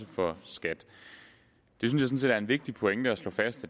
for skat det synes er en vigtig pointe at slå fast